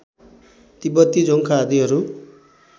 तिब्बती जोङ्खा आदिहरू